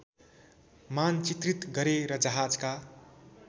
मानचित्रित गरे र जहाजका